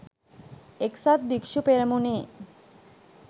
එක්සත් භික්‍ෂු පෙරමුණේ